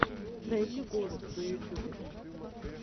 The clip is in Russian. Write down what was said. найди голуб на ютюбе